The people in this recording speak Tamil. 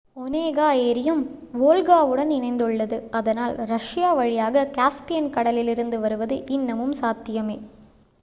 ஒநேகா ஏரியும் வோல்காவுடன் இணைந்துள்ளது அதனால் ரஷ்யா வழியாக காஸ்பியன் கடலிலிருந்து வருவது இன்னமும் சாத்தியமே